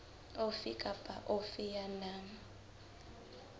ofe kapa ofe ya nang